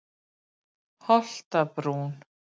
Holtabrún